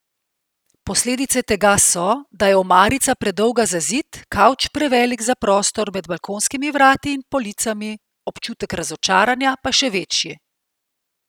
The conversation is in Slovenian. Posledice tega so, da je omarica predolga za zid, kavč prevelik za prostor med balkonskimi vrati in policami, občutek razočaranja pa še večji!